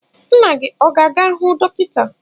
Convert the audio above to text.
Nna gị ọ ga-aga hụ dọkịta?